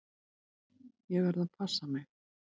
Ég verð að passa mig.